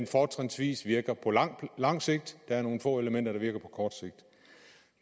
fortrinsvis virker på lang lang sigt der er nogle få elementer der virker på kort sigt